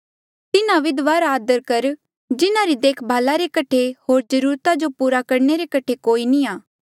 तिन्हा विधवा रा आदर कर जिन्हारी देखभाल रे कठे होर जरूरता जो पूरा करणे रे कठे कोई नी आ